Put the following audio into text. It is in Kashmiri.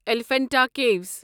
ایلیفنٹا کیوِس